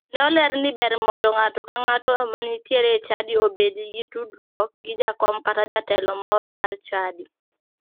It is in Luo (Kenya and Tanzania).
Ne oler ni ber mondo ng'ato ka ngato ma nitiere e chadi obedi gi tudruok gi jakom kata jatelo moro mar chadi.